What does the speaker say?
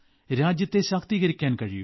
രാജ്യത്തെ ശാക്തീകരിക്കാൻ കഴിയൂ